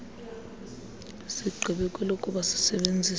sigqibe kwelokuba sisebenzise